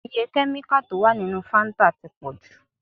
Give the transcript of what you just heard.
Iye kẹ́míkà tó wà nínú Fáńtà ti pọ̀ jù.